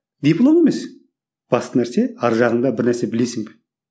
диплом емес басты нәрсе арғы жағыңда бір нәрсе білесің бе